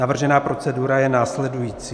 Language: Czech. Navržená procedura je následující: